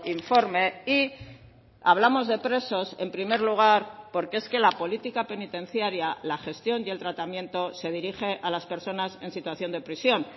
informe y hablamos de presos en primer lugar porque es que la política penitenciaria la gestión y el tratamiento se dirige a las personas en situación de prisión